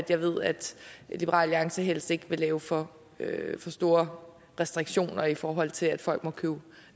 jeg ved at liberal alliance helst ikke vil lave for store restriktioner i forhold til at folk må købe